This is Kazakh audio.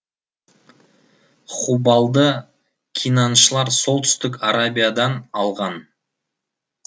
хубалды кинаншылар солтүстік арабиядан алған